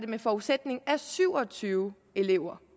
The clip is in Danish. den forudsætning at syv og tyve elever